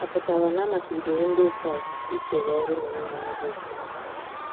Ọ̀ pụtara na a machibidoro Ndị Kraịst ikere ọ̀rụ n’omenala dị otú ahụ?